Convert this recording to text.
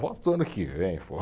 Volta o ano que vem, pô.